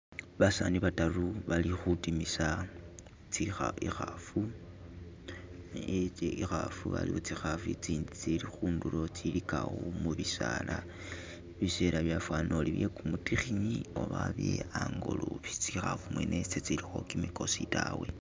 Basani badaru bali kudimisa ikhafu, tsikhafu waliwo tsikhafu tsindi tsili khundulo tsiligawo mubisaala bisela byafana uti byegumudikini oba hali hangolobe tsikhafu mwene zi zilikho gimigosi dawe.